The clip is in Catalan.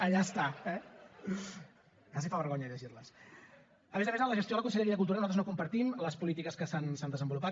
allà està eh a més a més en la gestió de la conselleria de cultura nosaltres no compartim les polítiques que s’han desenvolupat